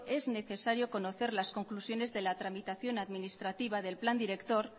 es necesario conocer las conclusiones de la tramitación administrativa del plan director